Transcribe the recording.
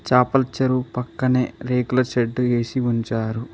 చాపల చెరువు పక్కనే రేకుల షెడ్డు వేసి ఉంచారు.